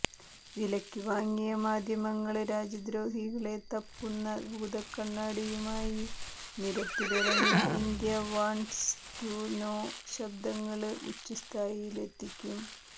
വിലയ്ക്ക് വാങ്ങിയ മാധ്യമങ്ങള് രാജ്യദ്രോഹികളെ തപ്പുന്ന ഭൂതക്കണ്ണാടിയുമായി നിരത്തിലിറങ്ങി ഇന്ത്യാ വാണ്ട്സ് ടു നോ ശബ്ദങ്ങള് ഉച്ചസ്ഥായിയിലെത്തിക്കും